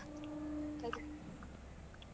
.